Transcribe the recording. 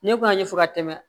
Ne kun y'a ɲɛfɔ ka tɛmɛ